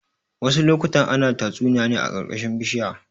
Wasu lokutan ana tatsuniya ne a ƙarƙashin bishinya.